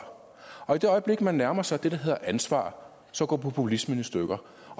og i det øjeblik man nærmer sig det der hedder ansvar så går populismen i stykker